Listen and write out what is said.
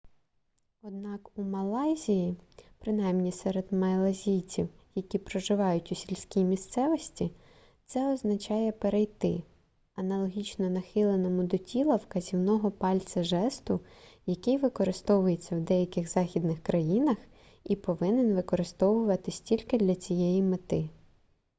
однак у малайзії принаймні серед малайців які проживають у сільській місцевості це означає перейти аналогічно нахиленому до тіла вказівного пальця жесту який використовується в деяких західних країнах і повинен використовуватися тільки для цієї мети